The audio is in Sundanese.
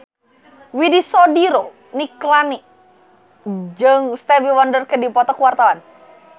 Widy Soediro Nichlany jeung Stevie Wonder keur dipoto ku wartawan